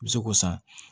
I bɛ se k'o san